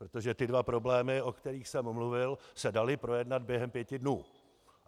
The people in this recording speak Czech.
Protože ty dva problémy, o kterých jsem mluvil, se daly projednat během pěti dnů.